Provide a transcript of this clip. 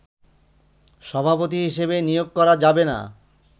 সভাপতি হিসেবে নিয়োগ করা যাবেনা